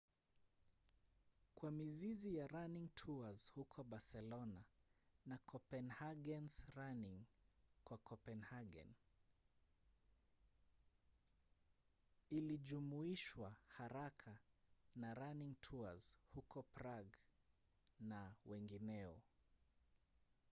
kwa mizizi ya running tours huko barcelona na copenhagen’s running kwa copenhagen ilijumuishwa haraka na running tours huko prague na wengineo